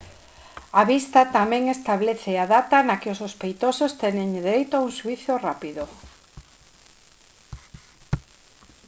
a vista tamén establece a data na que os sospeitosos teñen dereito a un xuízo rápido